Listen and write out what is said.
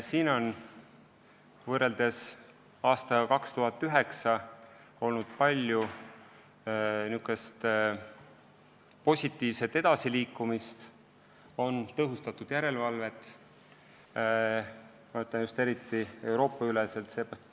Siin on võrreldes aastaga 2009 palju edasiliikumist olnud – eriti just Euroopa-üleselt on tõhustatud järelevalvet.